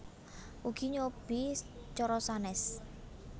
Ugi nyobi cara sanes